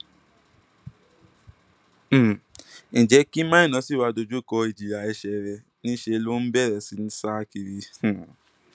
um ǹjẹ kí maina ṣì wàá dojú kọ ìjìyà ẹṣẹ rẹ níṣẹ ló bẹrẹ sí í sá kiri um